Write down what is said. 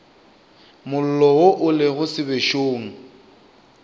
mollo wo o lego sebešong